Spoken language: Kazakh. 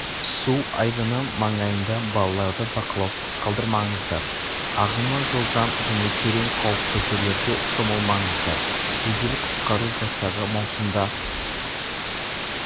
су айдыны маңайында балаларды бақылаусыз қалдырмаңыздар ағымы жылдам және терең қауіпті жерлерде шомылмаңыздар жедел-құтқару жасағы маусымда